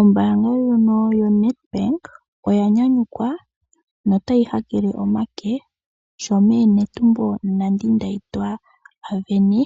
Ombaanga ndjono yoNet bank oya nyanyukwa notayi ha kele omake sho meeNetumbo Nandi_Ndaitwah a sindana